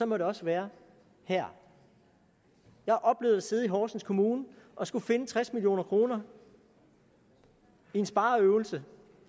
må det også være her jeg har oplevet at sidde i horsens kommune og skulle finde tres million kroner i en spareøvelse